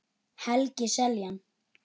Helgi Seljan.